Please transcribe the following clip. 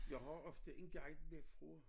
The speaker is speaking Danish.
Jeg har ofte en guide der fra